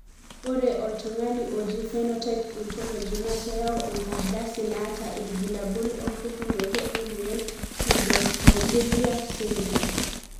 Ore oltungani oji Phenotype Ontology na keyau enkardasi naata ilbulabul opukunoto emoyian Pseudoprogeria syndrome.